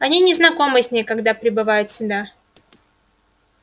они не знакомы с ней когда прибывают сюда